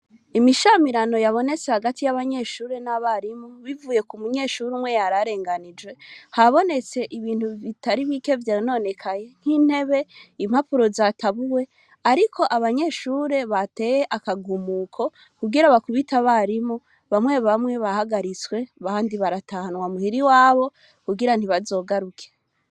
Imishamirano yavuye hagati y’abanyeshure n’abarimu bivuye kumunyeshure umwe yararenganijwe, habonetse ibintu bitari bike vyononekaye nk’intebe, impapuro zatabuwe, ariko abanyeshure bateye akagumuko kugira bakubit’abarimu bamwe bamwe bahagaritswe abandi baratahanwa muhir’iwabo kugira ntibazogaruke.